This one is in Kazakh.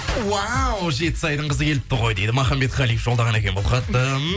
уау жетісайдың қызы келіпті ғой дейді махамбет қалиев жолдаған екен бұл хатты